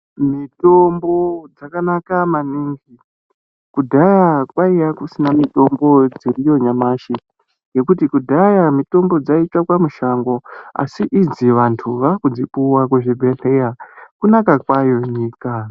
Mitombo dzakanaka maningi. Kudhaya kwaiya kusina mitombo dziriyo nyamashi ngekuti kudhaya mitombo dzaitsvakwa mushango asi idzi vantu vakudzipuwa kuzvibhedhleya, kunaka kwayo nyika.